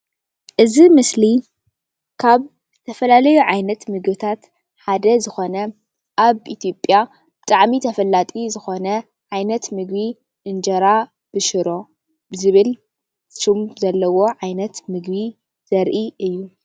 እዚ ምስሊ ካብ ተፈላለዩ ዓይነት ምግብታት ሓደ ዝኾነ አብ ኢትዮዸያ ብጣዕሚ ተፈላጢ ዝኮነ ዓይነት ምግቢ እንጀራ ብሽሮ ብዝብል ሽም ዘለዎ ዓይነት ምግቢ ዘርኢ እዩ፡፡